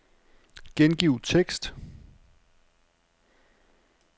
Gengiv tekst.